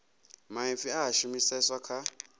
maipfi a a shumiseswa kha